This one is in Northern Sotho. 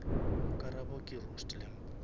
karabo ke roast lamb